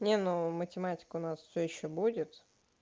не ну математика у нас все ещё будет